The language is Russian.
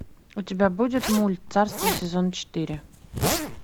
у тебя будет мульт царство сезон четыре